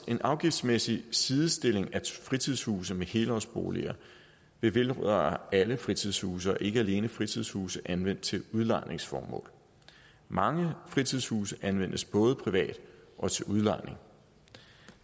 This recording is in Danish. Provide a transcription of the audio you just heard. en afgiftsmæssig sidestilling af fritidshuse med helårsboliger vil vedrøre alle fritidshuse og ikke alene fritidshuse anvendt til udlejningsformål mange fritidshuse anvendes både privat og til udlejning og